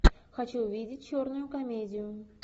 хочу увидеть черную комедию